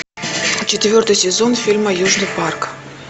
четвертый сезон фильма южный парк